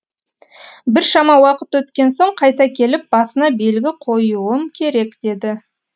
біршама уақыт өткен соң қайта келіп басына белгі қоюым керек деді